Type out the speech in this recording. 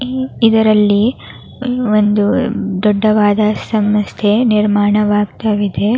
ಈ ಇದರಲ್ಲಿ ಒಂದು ದೊಡ್ಡವಾದ ಸಮಸ್ಥೆ ನಿರ್ಮಾಣವಾಗ್ತಾಯಿದೆ.